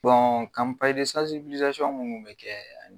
Bɔn minnu bi kɛ.